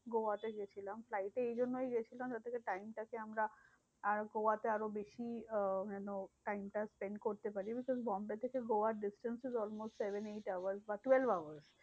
গোয়াতে গেছিলাম। flight এ এই জন্যই গেছিলাম যাতে time টাকে আমরা আর গোয়াতে আরো বেশি আহ যেন time টা spend করতে পারি। বোম্বে থেকে গোয়ার distance is almost seven eight hours বা twelve hours.